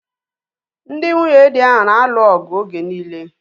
Ndị nwunyedi ahu na-alụ ọgụ oge niile